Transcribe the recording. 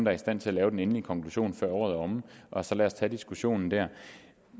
er i stand til at lave den endelige konklusion før året er omme og så lad os tage diskussionen der